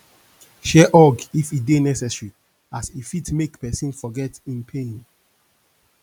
share hug if e dey necesary as e fit mek pesin forget em pain